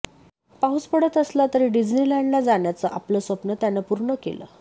पाऊस पडत असला तरी डिस्नेलँडला जाण्याचं आपलं स्वप्न त्यानं पूर्ण केलं